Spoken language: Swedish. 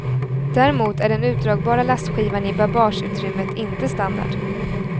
Däremot är den utdragbara lastskivan i babageutrymmet inte standard.